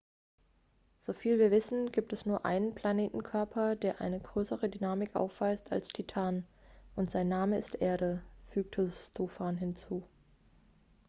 "soviel wir wissen gibt es nur einen planetenkörper der eine größere dynamik aufweist als titan und sein name ist erde" fügte stofan hinzu.